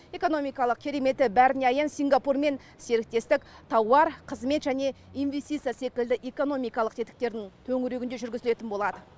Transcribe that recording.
экономикалық кереметі бәріне аян сингапурмен серіктестік тауар қызмет және инвестиция секілді экономикалық тетіктердің төңірегінде жүргізілетін болады